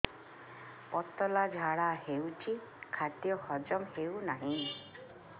ପତଳା ଝାଡା ହେଉଛି ଖାଦ୍ୟ ହଜମ ହେଉନାହିଁ